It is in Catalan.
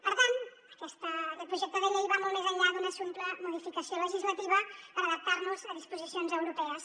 per tant aquest projecte de llei va molt més enllà d’una simple modificació legislativa per adaptar nos a disposicions europees